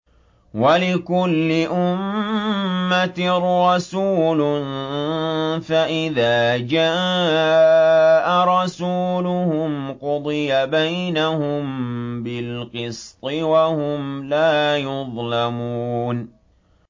وَلِكُلِّ أُمَّةٍ رَّسُولٌ ۖ فَإِذَا جَاءَ رَسُولُهُمْ قُضِيَ بَيْنَهُم بِالْقِسْطِ وَهُمْ لَا يُظْلَمُونَ